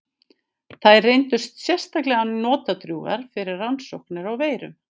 Þær reyndust sérstaklega notadrjúgar fyrir rannsóknir á veirum.